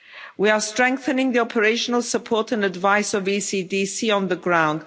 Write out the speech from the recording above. We are strengthening the operational support and advice of ECDC on the